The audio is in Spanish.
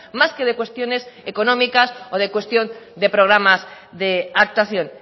más que de cuestiones económicas o de cuestión de programas de actuación